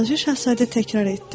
Balaca Şahzadə təkrar etdi.